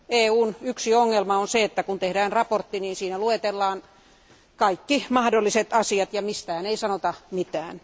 EUn yksi ongelma on se, että kun tehdään mietintö, siinä luetellaan kaikki mahdolliset asiat ja mistään ei sanota mitään.